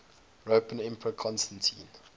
roman emperor constantine